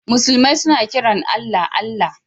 Musulmi suna kiran Allah, Allah.